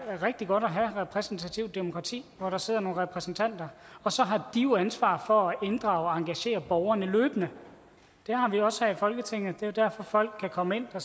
rigtig godt at have repræsentativt demokrati hvor der sidder nogle repræsentanter og så har de ansvar for at inddrage og engagere borgerne løbende det har vi også her i folketinget det er jo derfor folk kan komme ind og